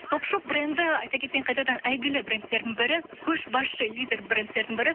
топ шоп бренді айта кетейін қайтадан әйгілі брендердің бірі көшбасшы лидер брендтердің бірі